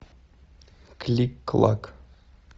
клик клак